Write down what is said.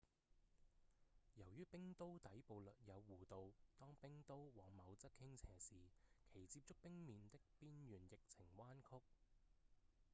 由於冰刀底部略有弧度當冰刀往某側傾斜時其接觸冰面的邊緣亦呈彎曲